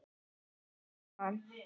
Árum saman?